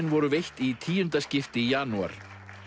voru veitt í tíunda skipti í janúar